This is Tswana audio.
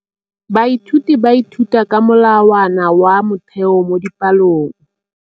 Baithuti ba ithuta ka molawana wa motheo mo dipalong.